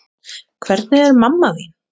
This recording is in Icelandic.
Hvernig er mamma þín?